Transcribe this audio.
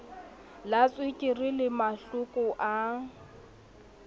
la tswekere le mahloko a